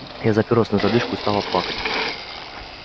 я заперусь на задвижку и стала плакать